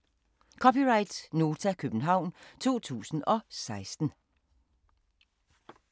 (c) Nota, København 2016